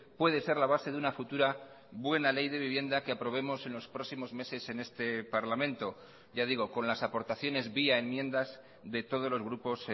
puede ser la base de una futura buena ley de vivienda que aprobemos en los próximos meses en este parlamento ya digo con las aportaciones vía enmiendas de todos los grupos